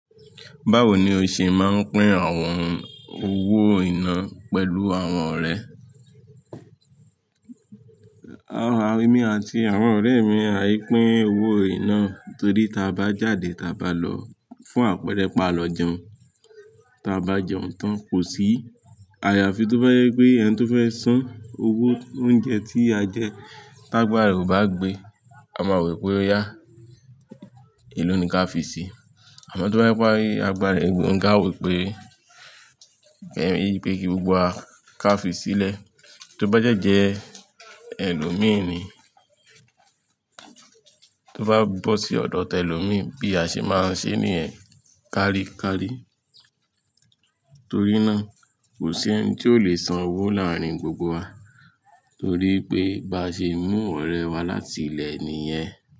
Báwo ni o ṣe máa ń pín àwọn owó iná pẹ̀lú àwọn ọ̀rẹ́? Emi àti àwọn ọ̀rẹ́ mi àì pín owó iná torí tí a bá jáde tí a bá lọ fún àpẹẹrẹ pa lọ jẹun, tí a bá jẹun tán kò sí àyàfi tó bá jẹ pé ẹni tó fẹ́ san owó oúnjẹ tí a jẹ, t'ágbà rẹ̀ ò bá gbé, a máa wò pé ó yá. È ló ni kí a fi sí i. Àmọ́ tó bá yẹ kó rí agbára ẹ gbé, òun gan a wò pé kí gbogbo wa ká fi sílẹ̀. Tó bá dẹ́ jẹ ẹlòmíràn ni, tó bá bọ́ sí ọ̀dọ̀ tẹlòmíràn bí a ṣe máa ń ṣe níyẹ̀n karí karí. Torí náà kò sí ẹni tí ó lè san owó láàárín gbogbo wa torí pé bá ṣe mú ọ̀rẹ́ wá láti ilé nìyẹn.